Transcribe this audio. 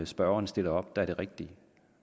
spørgeren stiller op der er det rigtige